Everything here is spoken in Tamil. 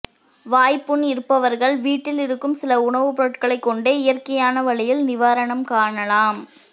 வாய்ப்புண் இருப்பவர்கள் வீட்டில் இருக்கும் சில உணவுப் பொருட்களைக் கொண்டே இயற்கையான வழியில் நிவாரணம் காணலாம்